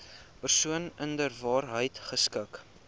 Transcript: persoon inderwaarheid geskik